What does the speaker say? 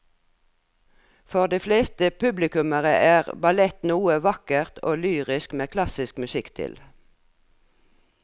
For de fleste publikummere er ballett noe vakkert og lyrisk med klassisk musikk til.